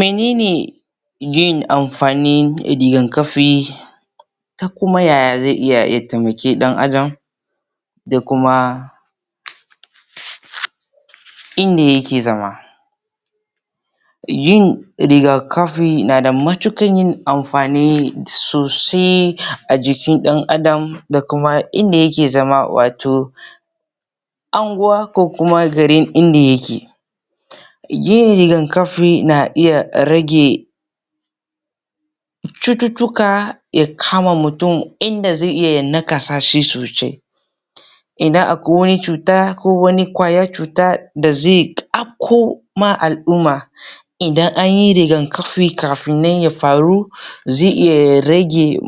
Menene yin amfanin rigakafii ta kuma yaya zai iya ya taimaki ɗan adam da kumaa inda yake zama yin rigakafi nada matuƙar yin amfani sosai a jikin ɗan adam da kuma inda yake zama wato anguwa ko kuma garin inda yake yin rigakafi na iya rage cututtuka ya kama mutum inda zai iya ya nakasa shi sosai idan akwai wani cuta ko wani ƙwayar cuta da zai afko ma alʼumma idan anyi rigakafi kafin nan ya faru zai iya ya rage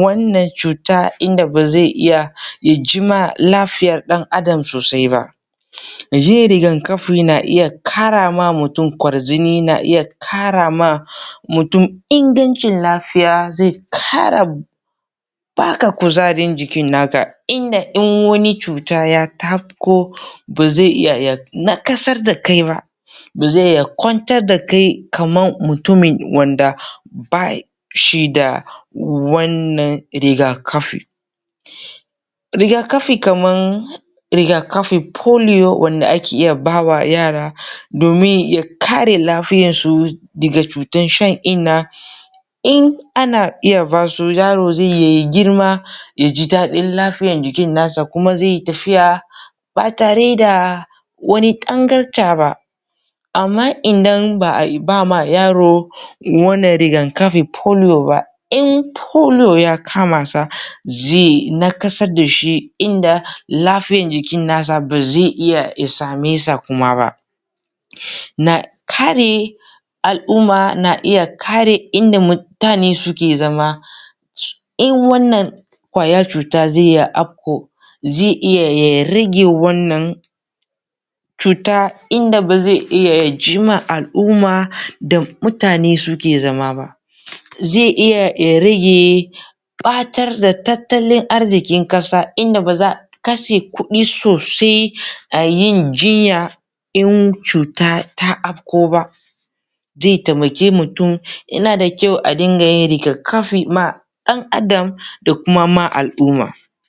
wannan cuta inda ba zai iya ya jinma lafiyar ɗan adam sosai ba yin rigakafi na iya ƙara ma mutum kwarjini, na iya ƙara ma mutum ingancin lafiya, zai ƙara baka kuzarin jikin naka inda in wani cuta ya afko ba zai iya ya naƙasar dakai ba ba zai iya ya kwantar dakai kamar mutumin wanda bashi da wannan rigakafi rigakafi kaman rigakafin polio wanda ake iya bawa yara domin ya kare lafiyarsu daga cutan shan innaa in ana iya basu yaro zai yi ya girma yaji daɗin lafiyar jikin nasa kuma zai yi tafiyaa ba tare da wani tangarɗa ba amma idan baʼa bama yaro wannan rigakafin polio ba in polio ya kama sa zai naƙasar dashi inda lafiyar jikin nasa ba zai iya ya sa me sa kuma ba na kare al'umma na iya kare inda mutane suke zama in wannan ƙwayar cuta zai iya afko zai iya ya rage wannan cutaa inda ba zai iya ya jinma alʼumma da mutane suke zama ba zai iya ya rage ɓatar da tattalin arzikin ƙasa inda ba zaʼa kashe kuɗi sosai a yin jinya in cuta ta afko ba zai taimake mutum, yana da kyau a dinga yin rigakafi ma ɗan adam da kuma ma alʼumma.